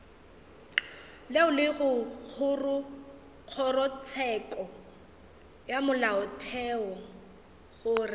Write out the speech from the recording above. go kgorotsheko ya molaotheo gore